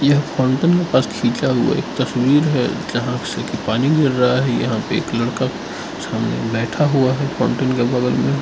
एक फाउंटेन के पास खींचा हुआ एक तस्वीर है जहां से पानी गिर रहा है यहां पे एक लड़का सामने बैठा हुआ है फाउंटेन के बगल में।